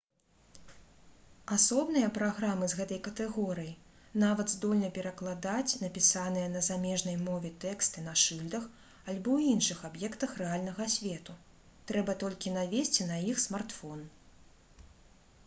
асобныя праграмы з гэтай катэгорыі нават здольны перакладаць напісаныя на замежнай мове тэксты на шыльдах альбо іншых аб'ектах рэальнага свету трэба толькі навесці на іх смартфон